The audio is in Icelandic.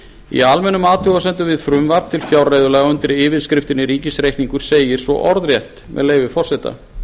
í almennum athugasemdum við frumvarp til fjárreiðulaga undir yfirskriftinni ríkisreikningur segir svo orðrétt með leyfi forseta